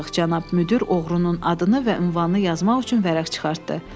Cənab müdir oğrunun adını və ünvanını yazmaq üçün vərəq çıxartdı.